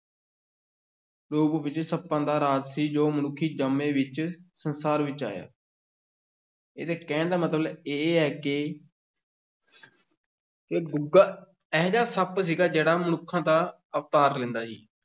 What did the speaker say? ਰੂਪ ਵਿੱਚ ਸੱਪਾਂ ਦਾ ਰਾਜ ਸੀ, ਜੋ ਮਨੁੱਖੀ ਜਾਮੇ ਵਿੱਚ ਸੰਸਾਰ ਵਿੱਚ ਆਇਆ ਇਹਦੇ ਕਹਿਣ ਦਾ ਮਤਲਬ ਇਹ ਹੈ ਕਿ ਕਿ ਗੁੱਗਾ ਇਹੋ ਜਿਹਾ ਸੱਪ ਸੀਗਾ ਜਿਹੜਾ ਮਨੁੱਖਾਂ ਦਾ ਅਵਤਾਰ ਲੈਂਦਾ ਸੀ।